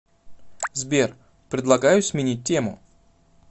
сбер предлагаю сменить тему